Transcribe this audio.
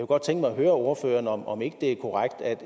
godt tænke mig at høre ordføreren om ikke det er korrekt at